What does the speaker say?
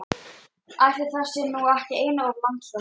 Ætli það sé nú ekki einum of langsótt!